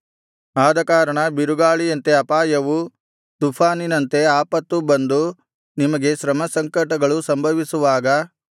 ಆದಕಾರಣ ಬಿರುಗಾಳಿಯಂತೆ ಅಪಾಯವೂ ತುಫಾನಿನಂತೆ ಆಪತ್ತೂ ಬಂದು ನಿಮಗೆ ಶ್ರಮಸಂಕಟಗಳು ಸಂಭವಿಸುವಾಗ